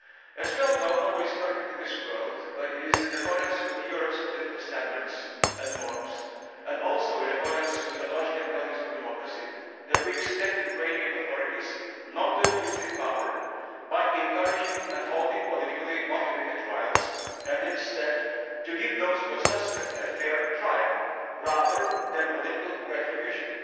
As we all know, nobody is perfect in this world, but it is in accordance with Europe's political standards and norms, and also in accordance with the logic and values of democracy, that we expect the Ukrainian authorities not to abuse their power by encouraging and holding politically motivated trials, and instead to give those who are suspects a fair trial, rather than political retribution.